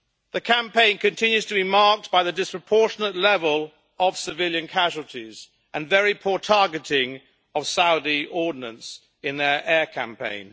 The campaign continues to be marked by the disproportionate level of civilian casualties and very poor targeting of Saudi ordinance in their air campaign.